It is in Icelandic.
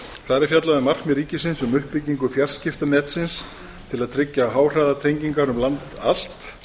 þar er fjallað um markmið ríkisins um uppbyggingu fjarskiptanetsins til að tryggja háhraðatengingar um land allt